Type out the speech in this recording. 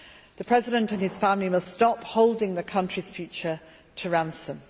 The President and his family must stop holding the country's future to ransom.